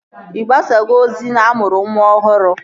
Ị gbasago ozi na-amụrụ nwa ọhụrụ?